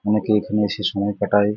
অনেকে এখানে এসে সময় কাটায়।